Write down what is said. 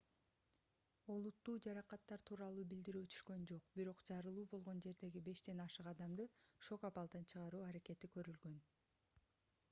олуттуу жаракаттар тууралуу билдирүү түшкөн жок бирок жарылуу болгон жердеги бештен ашык адамды шок абалдан чыгаруу аракети көрүлгөн